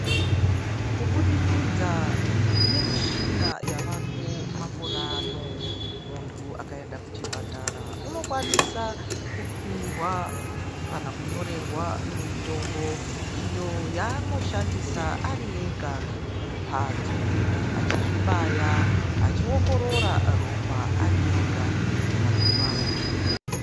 Kuburikidza nemishina yavako makore ano, muntu akaenda kuchibhedhlera anokwanisa kupihwa kana kunyorerwa mitombo iyo yaaanoshandisa ari ega kumbatso achizvibaya, achiongorora ropa ari ega kumbatso kwake.